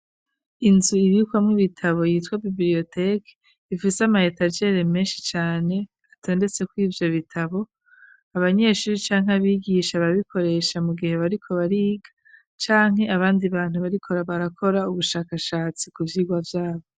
Inzu ibikwamw'ibitabo yitwa biblioteki ifise amayetagere menshi cane atondetse kwivyo bitabo abanyeshuri canke abigisha babikoresha mu gihe bariko bariga canke abandi bantu barikora barakora ubushakashatsi ku vyigwa vyabo.